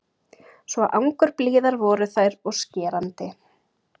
Svo angurblíðar voru þær og skerandi.